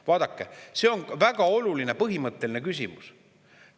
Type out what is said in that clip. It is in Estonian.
Vaadake, see on väga oluline põhimõtteline küsimus.